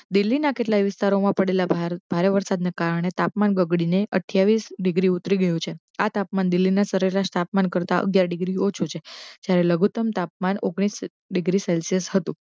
દિલ્લી ના કેટલા વિસ્તારો મા પડેલા ભારે વરસાદ ને કારણે તાપમાન બગડીને અઠિયાવીસ ડિગ્રી ઉતરી ગયું છે આ તાપમાન દિલ્લી ના સરેરાશ તાપમાન કરતા અગ્યાર ડિગ્રી ઓછુ છે જ્યારે લઘુત્ત્મ તાપમાન ઓગણીસ ડિગ્રી સેલ્શીયસ હતુ.